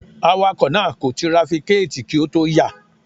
Awakọ̀ náà kò trafikéẹ̀tì kí ó tó yà.